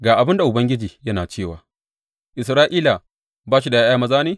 Ga abin da Ubangiji yana cewa, Isra’ila ba shi da ’ya’ya maza ne?